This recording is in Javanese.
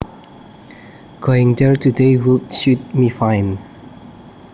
Going there today would suit me fine